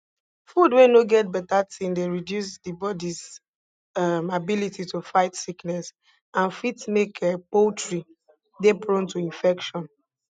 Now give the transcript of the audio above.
food wey no get beta tin dey reduce di bodis um ability to fight sickness and fit make um poultry dey prone to infection